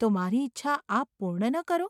‘તો મારી ઇચ્છા આપ પૂર્ણ ન કરો?